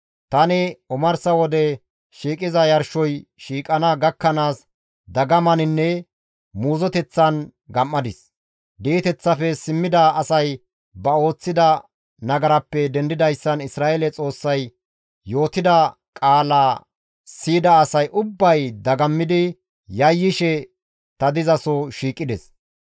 Tani omarsa wode shiiqiza yarshoy shiiqana gakkanaas dagamaninne muuzoteththan gam7adis; di7eteththafe simmida asay ba ooththida nagarappe dendidayssan Isra7eele Xoossay yootida qaalaa siyida asay ubbay dagammidi yayyishe ta dizaso shiiqides.